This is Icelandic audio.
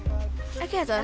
ekki þetta